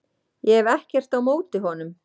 Ég hef ekkert á móti honum.